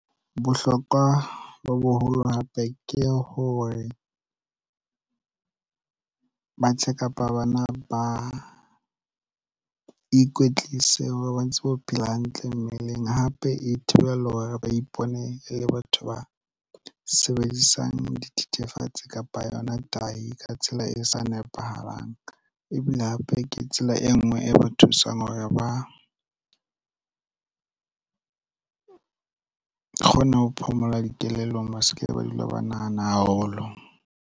Bohlokwa bo boholo hape ke hore batjha kapa bana ba ikwetlise ba bontse ho phela hantle mmeleng. Hape e thibela hore ba ipone e le batho ba sebedisang dithethefatsi kapa yona tahi ka tsela e sa nepahalang. Ebile hape ke tsela e nngwe e ba thusang hore ba kgone ho phomola dikelellong ba se ke ba dula ba nahana haholo.